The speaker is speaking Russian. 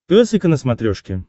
пес и ко на смотрешке